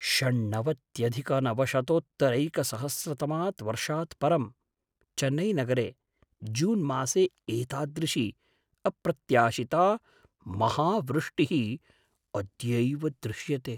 षण्णवत्यधिकनवशतोत्तरैकसहस्रतमात् वर्षात् परं, चेन्नैनगरे जून्मासे एतादृशी अप्रत्याशिता महावृष्टिः अद्यैव दृश्यते।